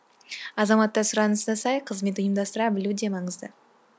азаматта сұранысына сай қызмет ұйымдастыра білу де маңызды